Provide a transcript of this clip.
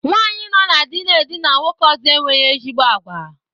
Nwaanyi nọ na dị na-edina nwoke ọzọ enweghị ezigbo àgwà.